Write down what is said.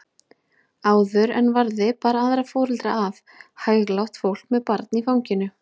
Áður en varði bar aðra foreldra að, hæglátt fólk með barn í fanginu.